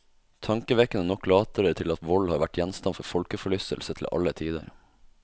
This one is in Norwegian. Tankevekkende nok later det til at vold har vært gjenstand for folkeforlystelse til alle tider.